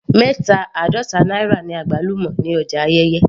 Mẹta àádọta náírà ni àgbálùmọ́ ní ọjà Ayẹ́yẹ́